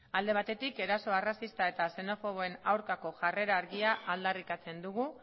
alde batetik eraso arrazista eta xenofoboen aurkako jarrera argia aldarrikatzen dugu